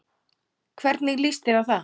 Hvernig líst þér á það?